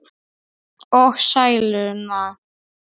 Og sæluna.